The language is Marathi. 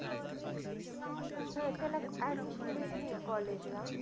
हा, त्याला admission भेटेन ना college ला.